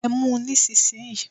Ẹ mú un nísinsìnyí!